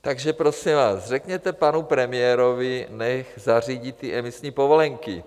Takže, prosím vás, řekněte panu premiérovi, ať zařídí ty emisní povolenky.